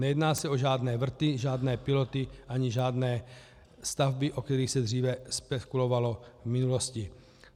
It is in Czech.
Nejedná se o žádné vrty, žádné piloty ani žádné stavby, o kterých se dříve spekulovalo v minulosti.